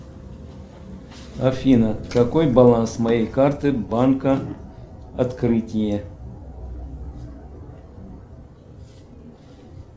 афина какой баланс моей карты банка открытие